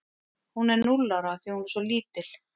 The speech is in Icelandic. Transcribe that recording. Hún er núll ára af því að hún er svo lítil.